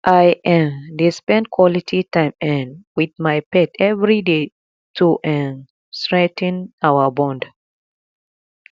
i um dey spend quality time um with my pet every day to um strengthen our bond